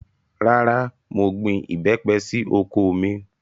Rárá, mo gbin ìbẹ́pẹ sí oko mi